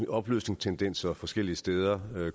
opløsningstendenser forskellige steder